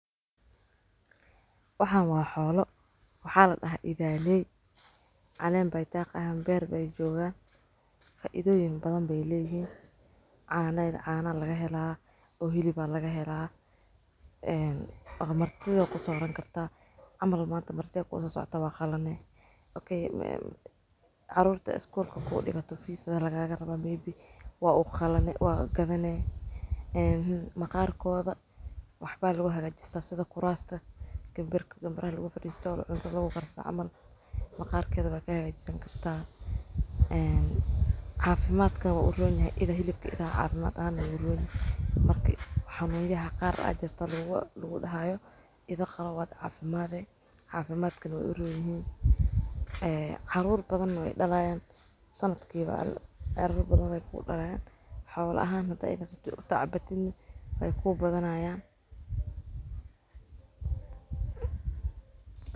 Waxan waa xoolo. Waxaad ahaa idaaley. Calam bay taqan, beer bay jooga. Ka idooyin badan bay leeyihiin. Caana ila caana laga helaa. Buu hilibaa laga helaa. Eh, markii uu ku safran kartaa amal maanta marti ahaa ku soo socota waa qalan, Okay. Caruurta iskuul ku dhiibo fiisada lagaagana baah miibi waa u qalan waa gadanee. Ma qaarkood waxba lagu hagajista sida kuraasta, gambir, gambar laguga farjiso olol inta lagu qarso aman. Ma qaarkii aad ka hag jiran kartaa. Xafimaadka u runtay ida hilibka idaan caawinaan aan ula oday. Markii xanuun yahaa qaar ajan, ta laguga dhahaayo idin qalaw wada caafimaaday. Xafimaadkan way u runin. Eh, caruur badan way dhalayaan sanadkii loo, caruur badan way ku dhallaan xool ahaanada idin joogta cabatid way ku badanaayaan.